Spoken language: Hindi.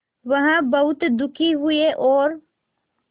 वह बहुत दुखी हुए और